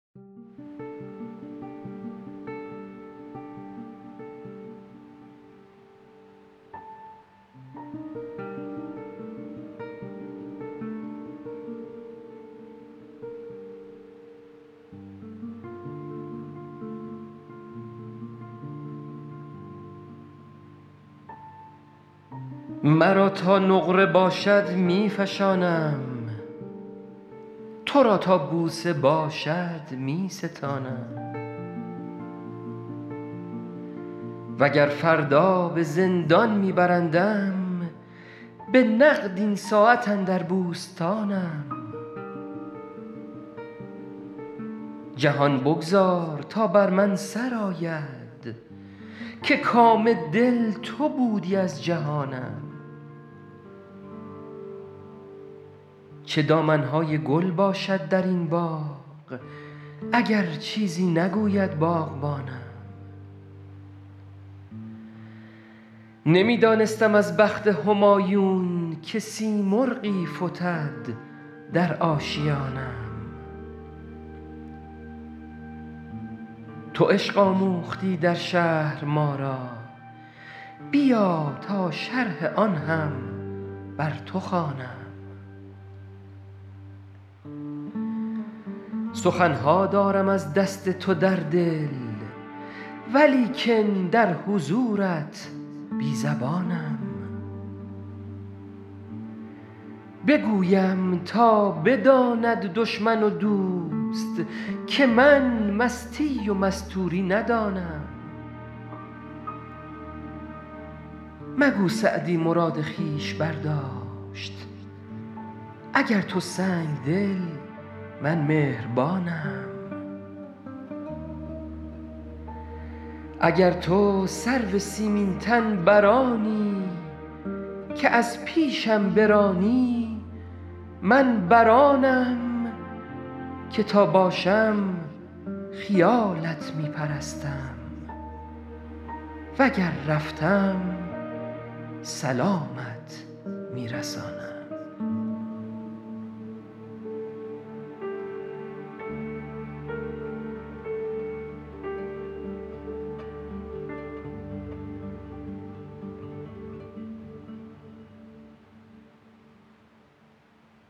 مرا تا نقره باشد می فشانم تو را تا بوسه باشد می ستانم و گر فردا به زندان می برندم به نقد این ساعت اندر بوستانم جهان بگذار تا بر من سر آید که کام دل تو بودی از جهانم چه دامن های گل باشد در این باغ اگر چیزی نگوید باغبانم نمی دانستم از بخت همایون که سیمرغی فتد در آشیانم تو عشق آموختی در شهر ما را بیا تا شرح آن هم بر تو خوانم سخن ها دارم از دست تو در دل ولیکن در حضورت بی زبانم بگویم تا بداند دشمن و دوست که من مستی و مستوری ندانم مگو سعدی مراد خویش برداشت اگر تو سنگدلی من مهربانم اگر تو سرو سیمین تن بر آنی که از پیشم برانی من بر آنم که تا باشم خیالت می پرستم و گر رفتم سلامت می رسانم